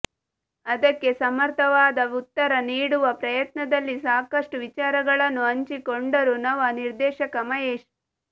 ಅದಕ್ಕೆ ಸಮರ್ಥವಾದ ಉತ್ತರ ನೀಡುವ ಪ್ರಯತ್ನದಲ್ಲಿ ಸಾಕಷ್ಟು ವಿಚಾರಗಳನ್ನು ಹಂಚಿಕೊಂಡರು ನವ ನಿರ್ದೇಶಕ ಮಹೇಶ್